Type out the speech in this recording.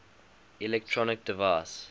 electronic design